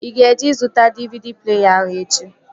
Ị ga-eje zụta DVD pleeya ahụ echi!